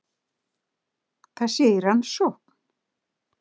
Það sé í rannsókn